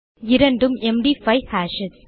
இரண்டும் MD five hashes